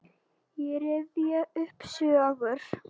Ég rifja upp sögur.